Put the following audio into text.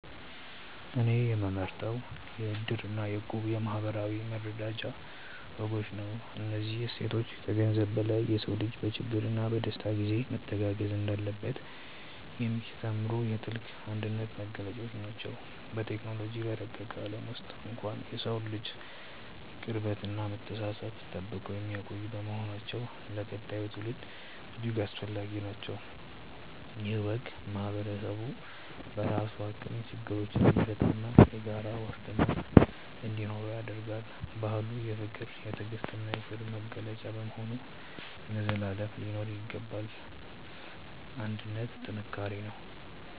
እኔ የምመርጠው የ"እድር" እና የ"እቁብ" የማኅበራዊ መረዳጃ ወጎችን ነው። እነዚህ እሴቶች ከገንዘብ በላይ የሰው ልጅ በችግርና በደስታ ጊዜ መተጋገዝ እንዳለበት የሚያስተምሩ የጥልቅ አንድነት መገለጫዎች ናቸው። በቴክኖሎጂ በረቀቀ ዓለም ውስጥ እንኳን የሰውን ልጅ ቅርበትና መተሳሰብ ጠብቀው የሚቆዩ በመሆናቸው ለቀጣዩ ትውልድ እጅግ አስፈላጊ ናቸው። ይህ ወግ ማኅበረሰቡ በራሱ አቅም ችግሮችን እንዲፈታና የጋራ ዋስትና እንዲኖረው ያደርጋል። ባህሉ የፍቅር፣ የትዕግስትና የክብር መገለጫ በመሆኑ ለዘላለም ሊኖር ይገባል። አንድነት ጥንካሬ ነው።